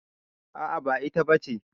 A'a ba ita ba ce.